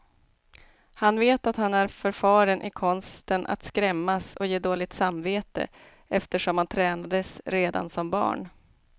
Han vet att han är förfaren i konsten att skrämmas och ge dåligt samvete, eftersom han tränades redan som barn.